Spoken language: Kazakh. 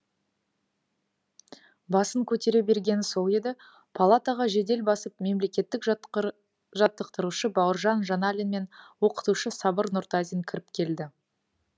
басын көтере бергені сол еді палатаға жедел басып мемлекеттік жаттықтырушы бауыржан жаналин мен оқытушы сабыр нұртазин кіріп келді